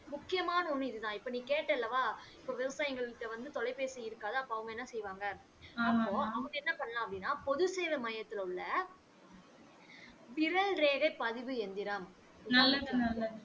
முக்கியமான ஒன்னு இது தான் இப்ப நீ கேட்ட அல்லவா இப்ப விவசாயிகள் கிட்ட வந்து தொலைபேசி இருக்காது அப்ப வாங்க என்ன செய்வாங்க அப்போ அவங்க என்ன பண்ணலாம் அப்படின்னா பொது சேவை மையத்தில் உள்ள விரல் ரேகை பதிவு இயந்திரம்